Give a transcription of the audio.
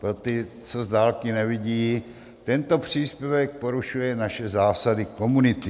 Pro ty, co z dálky nevidí: tento příspěvek porušuje naše zásady komunity .